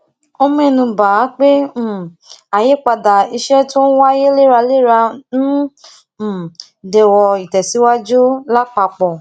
ó ménu bà á pé um àyípadà iṣé tó n wáyé léraléra ń um dẹwó ìtèsíwájú lápapò